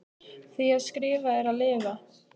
Því að skrifa er að lifa.